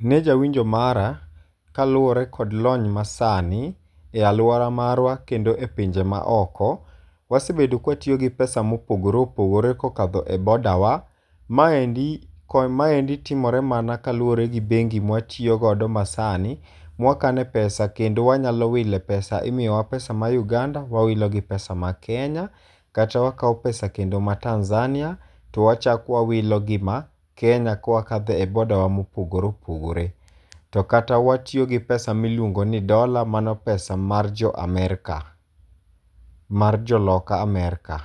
Ne jawinjo mara kaluwore kod lony masani, e alwora marwa kod e pinje ma oko, wasebedo kwatiyo gi pesa mopogore opogore kokadho e boda wa. Maendo ko, maendi timore mana kaluwore gi bengi mwatiyo godo ma sani, mwakane pesa kendo wanyalo wile pesa. Imiyo wa pesa ma Uganda, wawilo gi ma Kenya. Kata wakao pesa kendo ma Tanzania to wachak wawilo gi ma Kenya kwakadho e boda wa mopogore opogore. To kata watiyo gi pesa miluongo ni dola, mano pesa mar jo Amerka, mar jo loka Amerka.